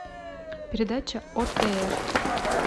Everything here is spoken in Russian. передача отр